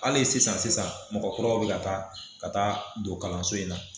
Hali sisan sisan mɔgɔw kura bɛ ka taa ka taa don kalanso in na.